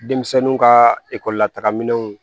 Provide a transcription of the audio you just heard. Denmisɛnninw ka ekɔli la taga minɛnw